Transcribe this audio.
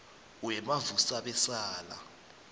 wemavusabesala